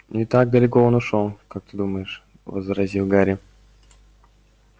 не так далеко он ушёл как ты думаешь возразил гарри